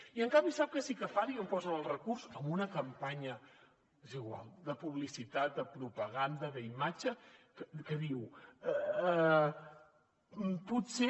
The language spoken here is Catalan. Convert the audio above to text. i en canvi sap què sí que fan i on posen el recurs en una campanya és igual de publicitat de propaganda d’imatge que diu potser